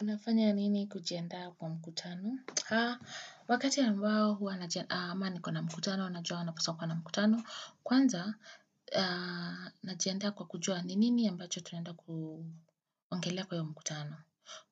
Unafanya nini kujiandaa kwa mkutano? Wakati ambao huwa najiandaa, ama nikona na mkutano, najua napaswa kwa na mkutano, kwanza, najiandaa kwa kujua ni nini ambacho tunaenda kuongelea kwa hiyo mkutano.